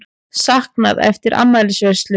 Saknað eftir afmælisveislu